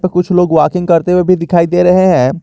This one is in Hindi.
कुछ लोग वॉकिंग करते हुए भी दिखाई दे रहे हैं।